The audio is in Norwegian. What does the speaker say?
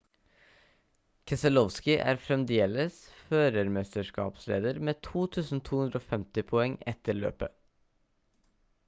keselowski er fremdeles førermesterskapsleder med 2250 poeng etter løpet